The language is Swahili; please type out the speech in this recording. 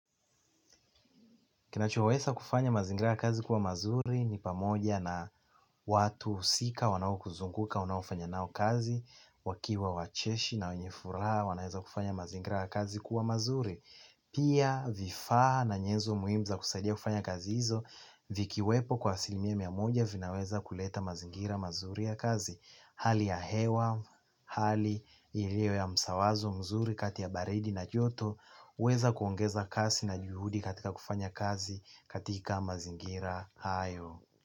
Kinachoweza kufanya mazingira ya kazi kuwa mazuri ni pamoja na watu husika wanao kuzunguka, unaofanya nao kazi, wakiwa wacheshi na wenye furaha wanaeza kufanya mazingira ya kazi kuwa mazuri. Pia vifaa na nyezo muhimu za kusaidia kufanya kazi hizo vikiwepo kwa asilimia mia moja vinaweza kuleta mazingira mazuri ya kazi. Hali ya hewa, hali ilio ya msawazo mzuri kati ya baridi na joto weza kuongeza kasi na juhudi katika kufanya kazi katika mazingira hayo.